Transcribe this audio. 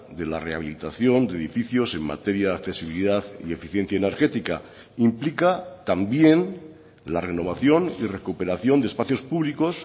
de la rehabilitación de edificios en materia de accesibilidad y eficiencia energética implica también la renovación y recuperación de espacios públicos